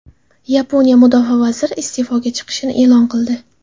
Yaponiya mudofaa vaziri iste’foga chiqishini e’lon qildi.